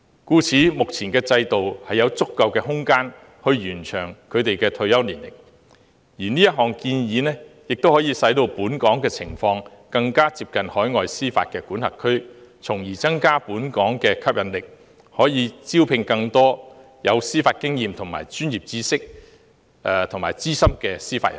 因此，現時的制度具有足夠的空間可以延長退休年齡，而這項建議亦令本港的情況更接近海外司法管轄區，從而增加本港的吸引力，以便招聘更多司法經驗及專業知識較豐富的司法人才。